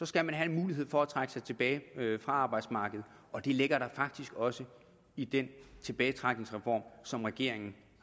skal man have en mulighed for at trække sig tilbage fra arbejdsmarkedet og det ligger der faktisk også i den tilbagetrækningsreform som regeringen